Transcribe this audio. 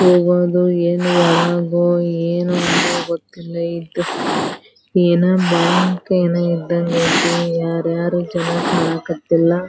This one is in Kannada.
ಹೋಗೋದು ಏನ್ ಒಳಗೋ ಏನು ಅನ್ನೋದ್ ಗೊತ್ತಿಲ್ಲ ಈದ್ ಬ್ಯಾಂಕ್ ಏನೋ ಇದ್ದಂಗಾಯಿತಿ ಯಾರ್ಯಾರು ಜನ ಕಣಕ್ ಹತ್ತಿಲ್ಲ --